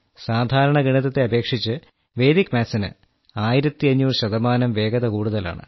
സാധാരണ ഗണിതത്തെ അപേക്ഷിച്ച് വേദിക് മാത്സിന് ആയിരത്തിഅഞ്ഞൂറ് ശതമാനം വേഗത കൂടുതലാണ്